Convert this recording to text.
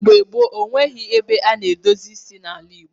Mgbe gboo, o nweghị ebe a na-edozi isi n’ala Igbo.